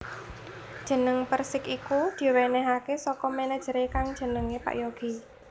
Jeneng Persik iku diwénéhaké saka manajeré kang jenenge Pak Yogi